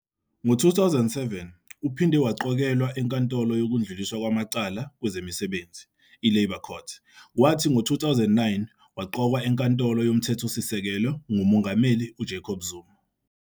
Ngo-2007 uphinde waqokelwa eNkantolo yokuDluliswa kwamaCala kwezeMisebenzi, iLabour Court, kwathi ngo-2009 waqokwa eNkantolo yoMthethosisekelo nguMengameli uJacob Zuma.